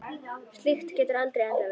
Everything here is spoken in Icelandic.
Slíkt getur aldrei endað vel.